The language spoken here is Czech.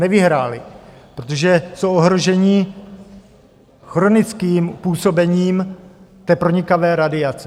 Nevyhráli, protože jsou ohroženi chronickým působením té pronikavé radiace.